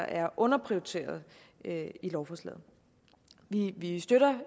er underprioriteret i lovforslaget vi støtter